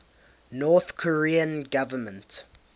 north korean government